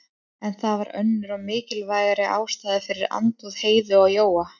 En það var önnur og mikilvægari ástæða fyrir andúð Heiðu á Jóa.